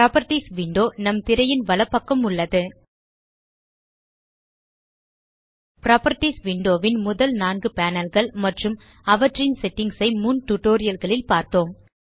properties window நம் திரையின் வலப்பக்கம் உள்ளது புராப்பர்ட்டீஸ் விண்டோ ன் முதல் நான்கு panelகள் மற்றும் அவற்றின் செட்டிங்ஸ் ஐ முன் டியூட்டோரியல் களில் பார்த்தோம்